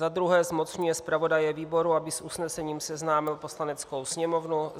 za druhé zmocňuje zpravodaje výboru, aby s usnesením seznámil Poslaneckou sněmovnu;